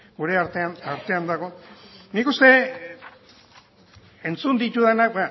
artean dago nik uste entzun ditudanak